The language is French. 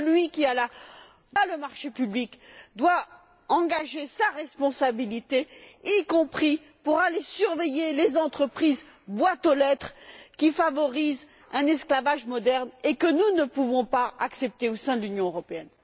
Celui qui obtient le marché public doit engager sa responsabilité, y compris pour aller surveiller les entreprises boîtes aux lettres qui favorisent un esclavage moderne et que nous ne pouvons pas accepter au sein de l'Union européenne.